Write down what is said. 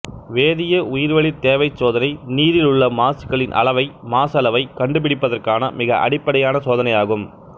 வேதிய உயிர்வளித் தேவை சோதனை நீரில் உள்ள மாசுகளின் அளவை மாசளவை கண்டுபிடிப்பதற்கான மிக அடிப்படையான சோதனை ஆகும்